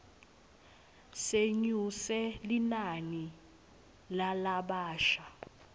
senyuse linani lalabasha